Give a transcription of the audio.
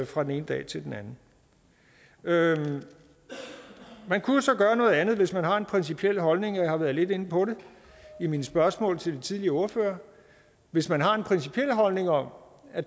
fra den ene dag til den anden man kan jo så gøre noget andet hvis man har en principiel holdning og jeg har været lidt inde på det i mine spørgsmål til de tidligere ordførere hvis man har en principiel holdning om at